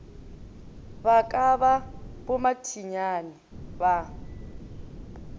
ba ka ba bommathinyane ba